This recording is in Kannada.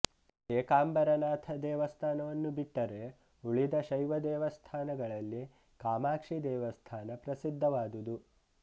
ಏಕಾಂಬರನಾಥ ದೇವಸ್ಥಾನವನ್ನು ಬಿಟ್ಟರೆ ಉಳಿದ ಶೈವ ದೇವಸ್ಥಾನಗಳಲ್ಲಿ ಕಾಮಾಕ್ಷಿ ದೇವಸ್ಥಾನ ಪ್ರಸಿದ್ಧವಾದುದು